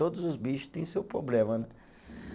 Todos os bicho têm seu problema, né?